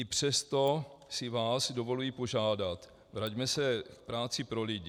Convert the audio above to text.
I přesto si vás dovoluji požádat, vraťme se k práci pro lidi.